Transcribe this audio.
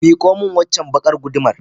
Mikomin waccar baƙar guduma.